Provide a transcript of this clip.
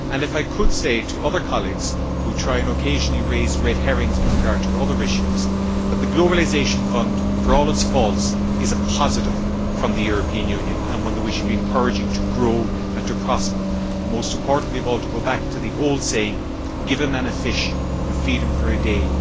And if I could say to other colleagues, who occasionally try to raise red herrings with regard to other issues, that the Globalisation Fund, for all its faults, is a positive from the European Union and one that we should be encouraging to grow and to prosper and, most importantly of all, to go back to the old saying give a man a fish, you feed him for a day